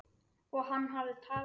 Og hann hafði talað.